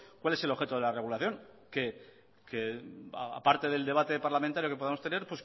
cuál es el objeto de la regulación que aparte del debate parlamentario que podamos tener